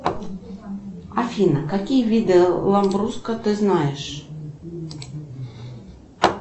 афина какие виды ламбруско ты знаешь